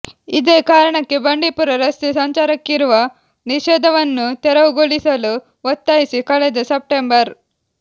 ಇದೇ ಕಾರಣಕ್ಕೆ ಬಂಡೀಪುರ ರಸ್ತೆ ಸಂಚಾರಕ್ಕಿರುವ ನಿಷೇಧವನ್ನು ತೆರವುಗೊಳಿಸಲು ಒತ್ತಾಯಿಸಿ ಕಳೆದ ಸೆಪ್ಟೆಂಬರ್